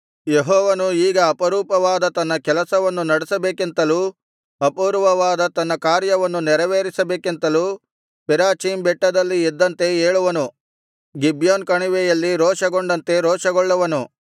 ಯೆಹೋವನು ಈಗ ಅಪರೂಪವಾದ ತನ್ನ ಕೆಲಸವನ್ನು ನಡೆಸಬೇಕೆಂತಲೂ ಅಪೂರ್ವವಾದ ತನ್ನ ಕಾರ್ಯವನ್ನು ನೆರವೇರಿಸಬೇಕೆಂತಲೂ ಪೆರಾಚೀಮ್ ಬೆಟ್ಟದಲ್ಲಿ ಎದ್ದಂತೆ ಏಳುವನು ಗಿಬ್ಯೋನ್ ಕಣಿವೆಯಲ್ಲಿ ರೋಷಗೊಂಡಂತೆ ರೋಷಗೊಳ್ಳುವನು